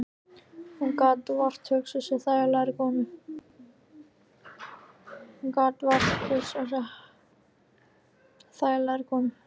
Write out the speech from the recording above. Hann gat vart hugsað sér þægilegri konu.